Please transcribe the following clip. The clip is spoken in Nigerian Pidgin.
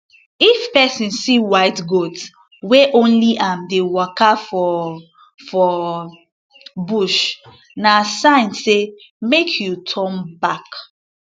if person see white goat wey only am dey waka for for bush na sign say make you turn back